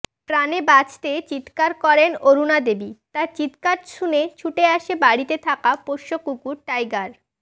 প্রাণে বাঁচতে চিৎকার করেন অরুণাদেবী তাঁর চিৎকার শুনে ছুটে আসে বাড়িতে থাকা পোষ্য কুকুর টাইগার